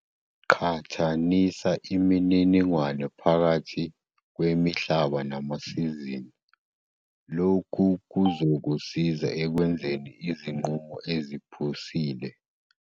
Qhathanisa imininingwane phakathi kwemihlaba namasizini - lokhu kuzokusiza ekwenzeni izinqumo eziphusile.